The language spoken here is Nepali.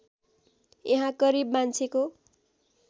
यहाँ करिब मान्छेको